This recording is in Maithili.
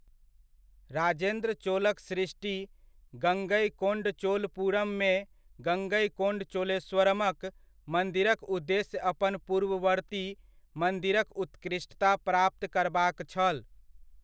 राजेन्द्र चोलक सृष्टि गङ्गईकोन्डचोलपुरममे गङ्गेकोन्डचोलेश्वरमक मन्दिरक उद्देश्य अपन पूर्ववर्ती मन्दिरक उत्कृष्टता प्राप्त करबाक छल।